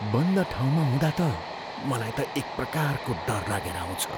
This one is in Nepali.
बन्द ठाउँमा हुँदा त मलाई त एकप्रकारको डर लागेर आउँछ।